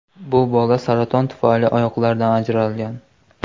Bu bola saraton tufayli oyoqlaridan ajralgan.